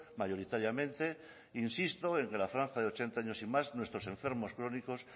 mayoritariamente insisto en que la franja de ochenta años y más nuestros enfermos crónicos